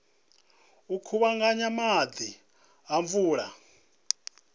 u kuvhanganya maḓi a mvula